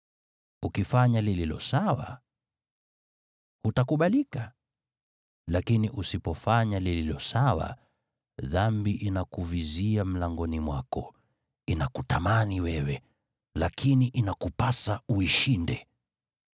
Ukifanya lililo sawa, je, hutakubalika? Lakini usipofanya lililo sawa, dhambi inakuvizia mlangoni mwako, inakutamani wewe, lakini inakupasa uishinde.”